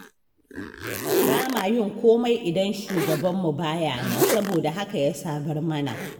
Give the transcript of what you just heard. Ba ma yin komai idan shugabanmu ba ya nan, saboda haka ya sabar mana.